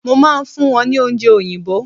mo ma n fún wón ni oúnje oyinbo